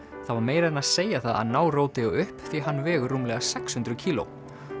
það var meira en að segja það að ná upp því hann vegur rúmlega sex hundruð kíló